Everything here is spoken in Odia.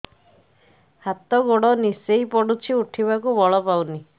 ହାତ ଗୋଡ ନିସେଇ ପଡୁଛି ଉଠିବାକୁ ବଳ ପାଉନି